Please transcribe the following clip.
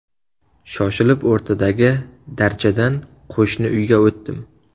Shoshib o‘rtadagi darchadan qo‘shni uyga o‘tdim.